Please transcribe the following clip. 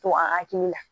To a hakili la